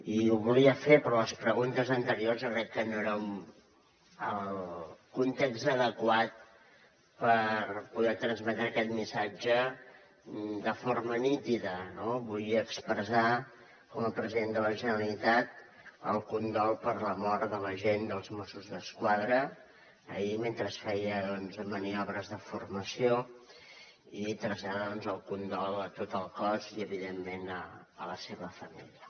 i ho volia fer però les preguntes anteriors jo crec que no eren el context adequat per poder transmetre aquest missatge de forma nítida no vull expressar com a president de la generalitat el condol per la mort de l’agent dels mossos d’esquadra ahir mentre feia doncs maniobres de formació i traslladar el condol a tot el cos i evidentment a la seva família